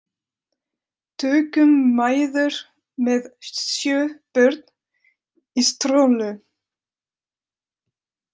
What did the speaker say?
Tökum mæður með sjö börn í strollu.